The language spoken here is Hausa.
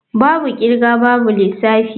Babu kirga babu lissafi.